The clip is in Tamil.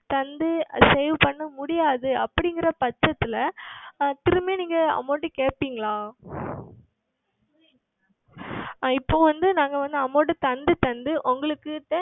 கொடுத்து Save செய்ய முடியாத சமயத்தில் திரும்ப நீங்கள் Amount கேட்பீர்களா இப்பொழுது வந்து நாங்கள் வந்து Amount கொடுத்து கொடுத்து உங்களுக்கு